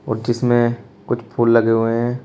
और जिसमें कुछ फूल लगे हुए हैं।